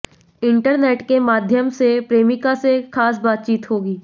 internet के माध्यम से प्रेमिका से खास बातचीत होगी